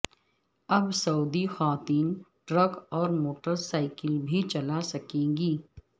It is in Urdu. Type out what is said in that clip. اب سعودی خواتین ٹرک اور موٹر سائیکل بھی چلا سکیں گی